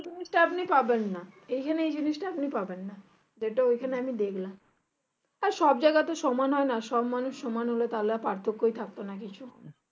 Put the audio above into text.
এই জিনিষটা আপনি পাবেন না এইখানে এই জিনিষটা আপনি পাবেননা যেটা এখানে আমি দেখলাম আর সব জায়গা তো সমান হয়না সব মানুষ সমান হলে আর পার্থক্যই থাকতো না কিছু